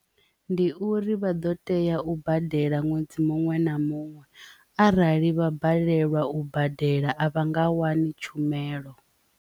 Ndi uri vha ḓo tea u badela ṅwedzi muṅwe na muṅwe arali vha balelwa u badela a vha nga wani tshumelo.